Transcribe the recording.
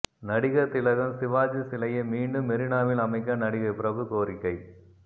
நடிகர் திலகம் சிவாஜி சிலையை மீண்டும் மெரினாவில் அமைக்க நடிகர் பிரபு கோரிக்கை